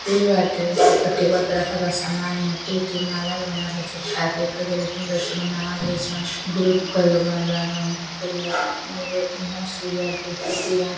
stool बाटे पर table पर रखल बा| समान मोती वोती माला वाला बना के चिपका के कईगो लईकनि बाली सन | बनाव तारी सन गुरूप कईगो बनल बा गमला में फूल बा एगो नर्स बिया देखतिया |